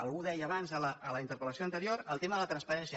algú deia abans a la interpel·lació anterior el tema de la transparència